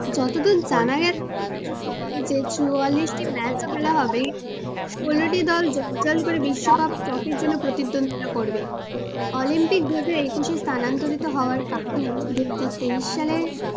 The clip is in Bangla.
চুয়াল্লিশটি match তো খেলা হবেই, ষোলোটি দল দল দল করে বিশ্বকাপ trophy র জন্য প্রতিদ্বন্দ্বীতা করবে। অলিম্পিক দু হাজার একুশে স্থানান্তরিত হওয়ার কারণে দু হাজার তেইশ সালে,